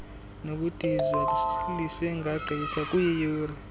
nokudizwa lisengagqitha kwiiyure